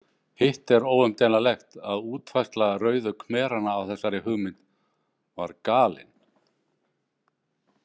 Hitt er óumdeilanlegt að útfærsla Rauðu khmeranna á þessari hugmynd var galin.